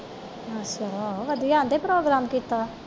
ਅੱਛਾ ਵਧੀਆ ਆਹੁੰਦੇ ਪ੍ਰੋਗਰਾਮ ਕੀਤਾ